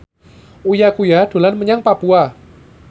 Uya Kuya dolan menyang Papua